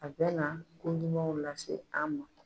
A bɛ na ko ɲuman lase an ma